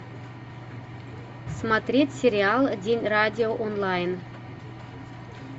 смотреть сериал день радио онлайн